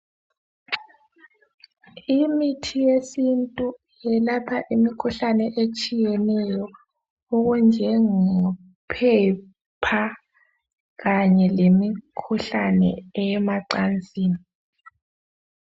Imithi yesintu yelapha imikhuhlane etshiyeneyo okunjengo phepha kanye lemikhuhlane eyemacansini.